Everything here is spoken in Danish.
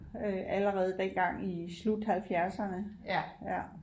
Øh allerede dengang i slut halvfjerdserne ja